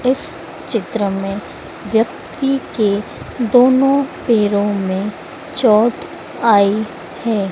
इस चित्र में व्यक्ति के दोनों पैरों में चोट आई है।